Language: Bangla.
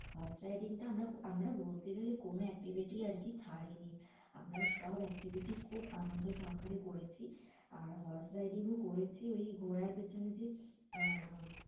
Horseriding টা আমরা আমরা বলতে গেলে কোনো activity ই আর কি ছাড়িনি। আমরা সব activity খুব আনন্দ সহকারে করেছি। আর horse riding ও করেছি। ওই ঘোড়ার পেছনে যে আহ